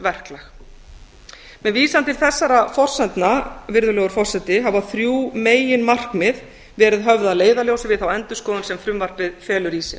verklag með vísan til þessara forsendna virðulegur forseti hafa þrjú meginmarkmið verið höfð að leiðarljósi við þá endurskoðun sem frumvarpið felur í sér